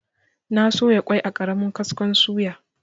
Na soya kwai a ƙaramin kaskon suya.